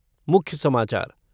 मुख्य समाचार